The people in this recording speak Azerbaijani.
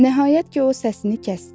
Nəhayət ki, o səsini kəsdi.